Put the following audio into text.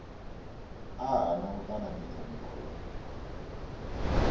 a hana u ṱanganedza mukovhe